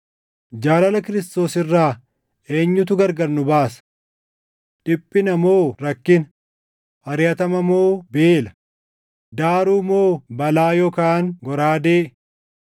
Jaalala Kiristoos irraa eenyutu gargar nu baasa? Dhiphina moo rakkina, ariʼatama moo beela, daaruu moo balaa yookaan goraadee?